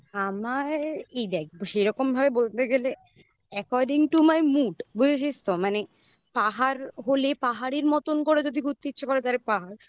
আমার এই দেখ সেরকম ভাবে বলতে গেলে according to my mood বুঝেছিস তো মানে পাহাড় হলে পাহাড়ের মতন করে যদি ঘুরতে ইচ্ছা করে তাহলে পাহাড়.